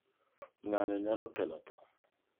Ng'anyo nyalo kelo tho.